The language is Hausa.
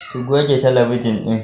Ki goge talabijin ɗin.